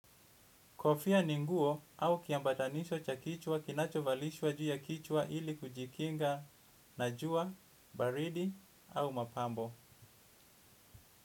Kofia ni nguo au kiambatanisho cha kichwa kinachovalishwa juu ya kichwa ili kujikinga na jua, baridi au mapambo.